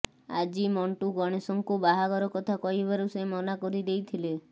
ଆଜି ମଣ୍ଟୁ ଗଣେଶଙ୍କୁ ବାହାଘର କଥା କହିବାରୁ ସେ ମନା କରିଦେଇଥିଲେ